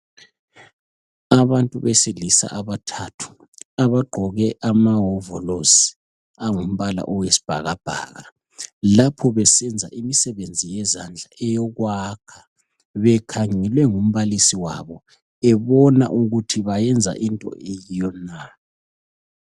Abantu besilisa abathathu abagqoke amahovolosi ongumbala owesibhakabhaka lapho besenza imisebenzi yezandla eyokwakha bekhangelwe ngumbalisi wabo ebona ukuthi bayenza into eyiyo na.